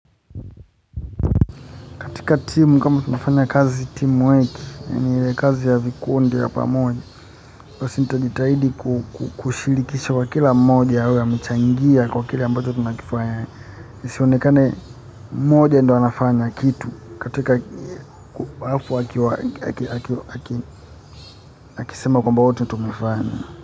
Katika timu kama tunafanya kazi timu weki, yaani ile kazi ya vikundi ya pamoja. Kwa si nita jitahidi kushirikisha kwa kila mmoja awe amechangia kwa kila ambacho tunakifanya. Nisionekane mmoja ndo anafanya kitu katika wafu akisema kwamba wote tumefanya.